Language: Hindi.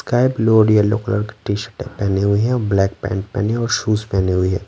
स्काई ब्लू और यलो- कलर की टी-शर्ट पहनी हुई हैऔर ब्लैक पैंट पहने और शूज पहने हुई है।